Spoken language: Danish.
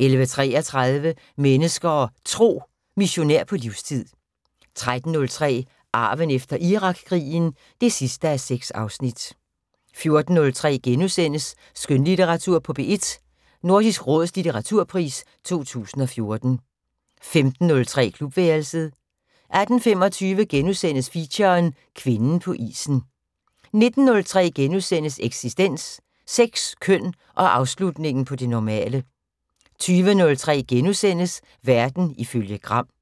11:33: Mennesker og Tro: Missionær på livstid 13:03: Arven efter Irakkrigen (6:6) 14:03: Skønlitteratur på P1: Nordisk Råds litteraturpris 2014 * 15:03: Klubværelset 18:25: Feature: Kvinden på isen * 19:03: Eksistens: Sex, køn og afslutningen på det normale * 20:03: Verden ifølge Gram *